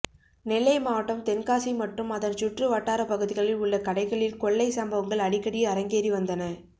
நெல்லை மாவட்டம் தென்காசி மற்றும் அதன் சுற்று வட்டார பகுதிகளில் உள்ள கடைகளில் கொள்ளை சம்பவங்கள் அடிக்கடி அரங்கேறி வந்தன